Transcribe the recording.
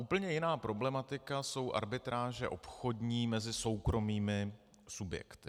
Úplně jiná problematika jsou arbitráže obchodní mezi soukromými subjekty.